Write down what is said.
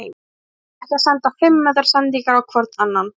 Menn ná ekki að senda fimm metra sendingar á hvorn annan.